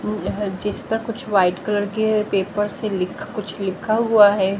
जिस पर कुछ व्हाइट कलर के पेपर से लिख कुछ लिखा हुआ है।